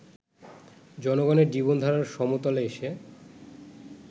জনগণের জীবনধারার সমতলে এসে